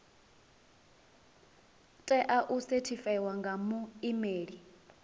tea u sethifaiwa nga muimeli